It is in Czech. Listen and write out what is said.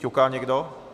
Ťuká někdo?